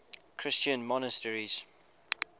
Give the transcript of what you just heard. christian monasteries